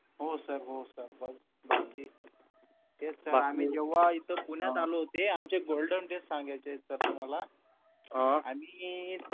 हो सर हो सर बाकी तेच सर आम्ही जेव्हा इथं पुण्यात आले होते आमचे golden days सांगायचेत सर तुम्हाला आणि